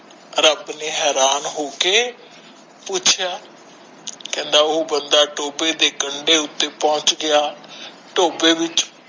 ਰੱਬ ਨੇ ਹੈਰਾਨ ਹੋ ਕੇ ਪੁੱਛਿਆ ਕਹਿੰਦੇ ਉਹ ਬੰਦਾ ਟੋਬੇ ਦੇ ਕੰਡੇ ਉਤੇ ਪੋਂਛ ਗਿਆ ਟੋਬੇ ਵਿਚ